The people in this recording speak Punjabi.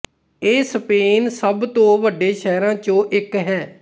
ਇਹ ਸਪੇਨ ਸਭ ਤੋਂ ਵੱਡੇ ਸ਼ਹਿਰਾਂ ਚੋਂ ਇੱਕ ਹੈ